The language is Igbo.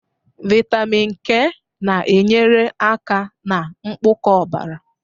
Vitamin K na-enyere aka na mkpụkọ ọbara.